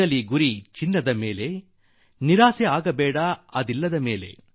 ಚಿನ್ನಕ್ಕೆ ಗುರಿಯಿಟ್ಟು ಗುರಿ ತಲುಪದಿದ್ದಾಗ ಬೇಡ ನಿರಾಸೆ